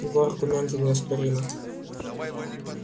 его аргументы неоспоримы